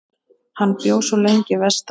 Hann bjó svo lengi vestra.